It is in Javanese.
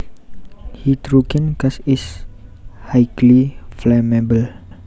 Hydrogen gas is highly flammable